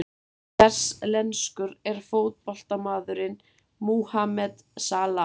Hvers lenskur er fótboltamaðurinn Mohamed Salah?